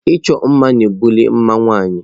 Ịchọ mma na-ebuli mma nwanyị.